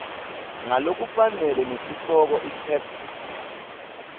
ngalokufanele nesihloko itheksthi